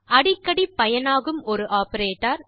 அடிக்கடி பயனாகும் ஒரு ஆப்பரேட்டர்